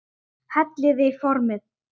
Hellið í formið.